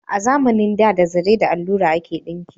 A zamanin da, da zare da allura ake dinki